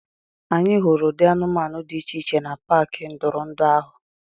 Anyị hụrụ ụdị anụmanụ dị iche iche na paaki ntụrụndụ ahụ.